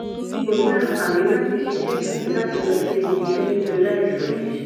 n kò ní àǹfààní láti ṣiṣẹ tàbí láti lọ sí ibiiṣẹ nítorí àìsàn yìí